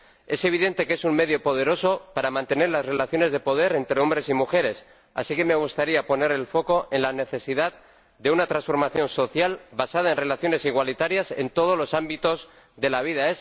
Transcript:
Es evidente que es un medio poderoso para mantener las relaciones de poder entre hombres y mujeres, así que me gustaría poner el foco en la necesidad de una transformación social basada en relaciones igualitarias en todos los ámbitos de la vida.